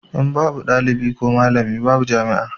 In babu malami ko ɗalibi babu jami'a